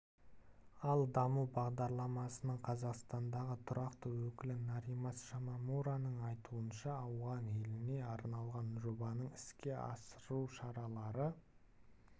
ал даму бағдарламасының қазақстандағы тұрақты өкілі норимас шимомураның айтуынша ауған еліне арналған жобаны іске асыру шаралары